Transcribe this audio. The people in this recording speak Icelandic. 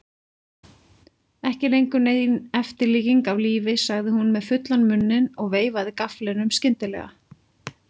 Ekki lengur nein eftirlíking af lífi, sagði hún með fullan munninn og veifaði gafflinum skyndilega.